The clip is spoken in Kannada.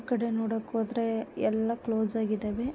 ಆಕಡೆ ನೋಡೋಕ್ ಹೋದ್ರೆ ಯಲ್ಲಾ ಕ್ಲೋಸ್ ಆಗಿದಾವೆ .